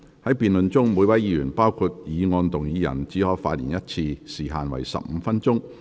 在辯論中，每位議員只可發言一次，時限為15分鐘。